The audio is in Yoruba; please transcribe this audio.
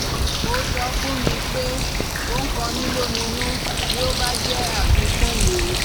Mo sọ fún mi pé, ó ń kọ mí lóminú bí ó bá jẹ́ àfikún mi